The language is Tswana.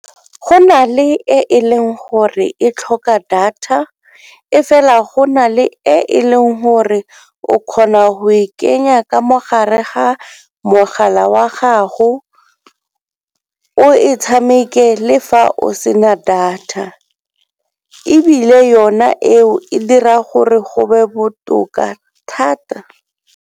Go nale e leng gore e tlhoka data, e fela go nale e leng gore o kgona go e kenya ka mogare ga mogala wa gago o e tshameke le fa o sena data. Ebile yona eo e dira gore go be botoka thata.